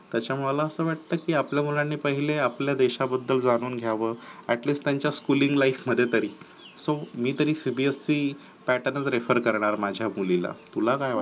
त्याच मला असं वाटत की आपल्या मुलांनी पहिले आपल्या देशाबद्दल जाणून घ्यावं at least त्यांच्या schooling life मध्ये तरी so मी तरी cbse pattern refer करणार माझ्या मुलीला तुला काय वाटते